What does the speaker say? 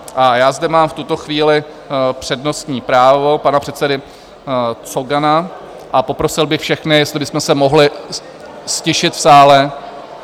A já zde mám v tuto chvíli přednostní právo pana předsedy Cogana a poprosil bych všechny, jestli bychom se mohli ztišit v sále.